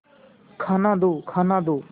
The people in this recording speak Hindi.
खाना दो खाना दो